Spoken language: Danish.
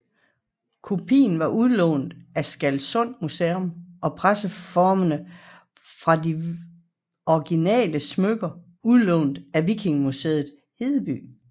Kopien var udlånt af Stralsund Museum og presseformene fra det originale smykke udlånt af Vikingemuseum Hedeby